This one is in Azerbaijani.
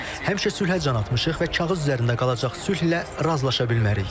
Həmişə sülhə can atmışıq və kağız üzərində qalacaq sülhlə razılaşa bilmərik.